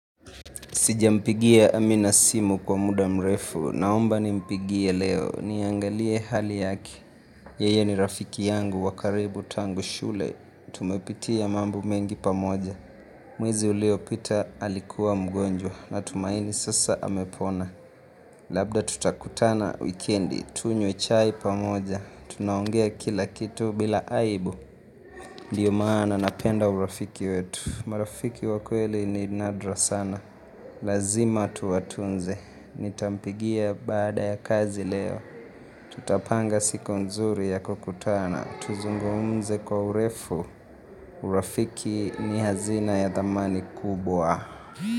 Sijampigia amina simu kwa muda mrefu. Naomba nimpigie leo. Niangalie hali yake. Yeye ni rafiki yangu wa karibu tangu shule. Tumepitia mambo mengi pamoja. Mwezi uliopita alikuwa mgonjwa natumaini sasa amepona. Labda tutakutana wikendi. Tunywe chai pamoja. Tunaongea kila kitu bila aibu. Ndiyo maana napenda urafiki wetu, marafiki wa kweli ni nadra sana, lazima tuwatunze, nitampigia baada ya kazi leo, tutapanga siku nzuri ya kukutana, tuzungumze kwa urefu, urafiki ni hazina ya thamani kubwa.